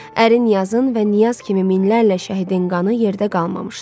Ərin, Niyazın və Niyaz kimi minlərlə şəhidin qanı yerdə qalmamışdı.